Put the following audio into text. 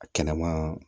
A kɛnɛmaa